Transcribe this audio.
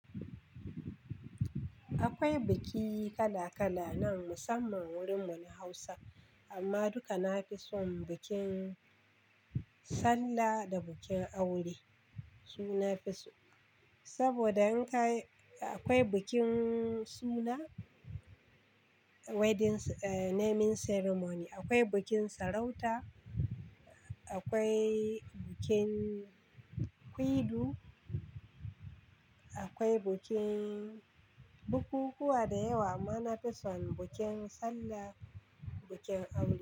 Akwai biki kala-kala nan musamman wurin mu na Hausa amma duka na fi son bikin sallah da bikin aure. Su nafi so saboda in ka, akwai bikin suna, wedding eh naming ceremony, akwai bikin sarauta, akwai bikin kwidu, akwai bukin bukukuwa da yawa amma na fi son bukin sallah bikin aure.